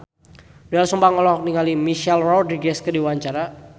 Doel Sumbang olohok ningali Michelle Rodriguez keur diwawancara